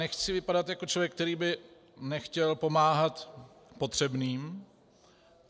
Nechci vypadat jako člověk, který by nechtěl pomáhat potřebným.